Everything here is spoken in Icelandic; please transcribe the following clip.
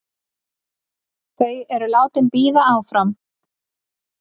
Þau eru látin bíða áfram.